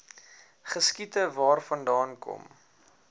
geskiet waarvandaan kom